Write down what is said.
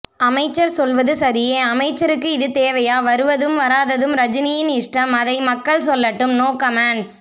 அமைச்சர் சொல்வது சரியே அமைச்சருக்கு இது தேவையா வருவதும் வராததும் ரஜினியின் இஷ்டம் அதை மக்கள் சொல்லட்டும் நோ கமென்ட்ஸ்